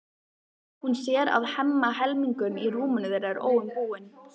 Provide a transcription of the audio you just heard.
Hún sér að Hemma helmingur í rúminu þeirra er óumbúinn.